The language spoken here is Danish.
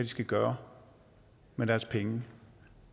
skal gøre med deres penge